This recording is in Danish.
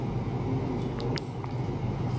Julius Mose